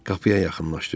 Qapıya yaxınlaşdı.